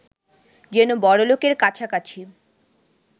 যেন বড়লোকের কাছাকাছি